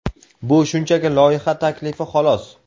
Bu shunchaki loyiha taklifi xolos.